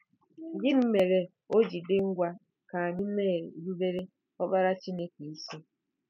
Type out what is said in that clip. Gịnị mere o ji dị ngwa ka anyị na-erubere Ọkpara Chineke isi?